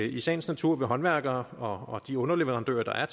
i sagens natur vil håndværkerne og de underleverandører der er